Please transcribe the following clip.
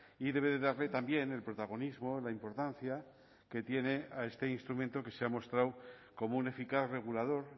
y debe darle también el protagonismo la importancia que tiene a este instrumento que se ha mostrado como un eficaz regulador